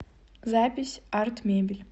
запись арт мебель